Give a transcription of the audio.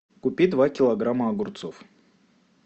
купи два килограмма огурцов